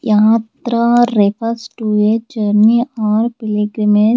yatra refers to a journey or pilgrimage.